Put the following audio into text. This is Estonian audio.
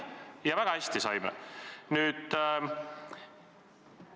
Ja väga hästi saime!